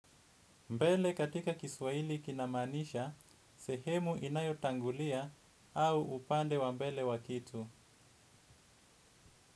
Mbele katika kiswaili kinamaanisha, sehemu inayo tangulia au upande wa mbele wa kitu.